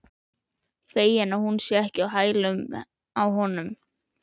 Feginn að hún er ekki á hælunum á honum.